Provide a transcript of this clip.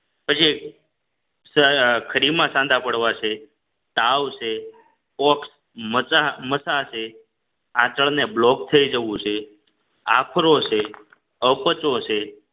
પછી સઅ ખડીમાં સાંધા પાડવા છે તાવ છે ઓક મસા માસ શે આંચળ ને બ્લોક થઈ જવું છે આફરો છે અપચો છે